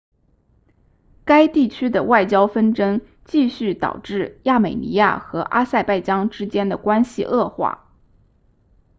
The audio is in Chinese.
该地区的外交纷争继续导致亚美尼亚和阿塞拜疆之间的关系恶化